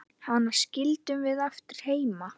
Hana skildum við eftir heima.